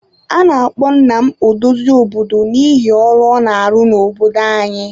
A na-akpọ nna m odozi obodo n'ihi ọrụ ọ na-arụ n'obodo anyị.